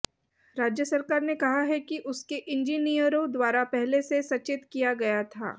राज्य सरकार ने कहा है कि उसके इंजिनियरों द्वारा पहले से सचेत किया गया था